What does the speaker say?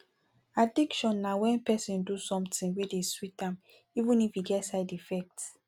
addiction na wen person dey do something wey dey sweet am even if e get side effect